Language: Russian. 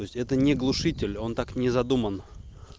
то есть это не глушитель он так не задуман